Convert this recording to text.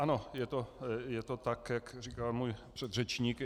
Ano, je to tak, jak říkal můj předřečník.